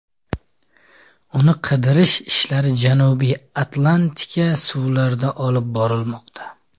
Uni qidirish ishlari Janubiy Atlantika suvlarida olib borilmoqda.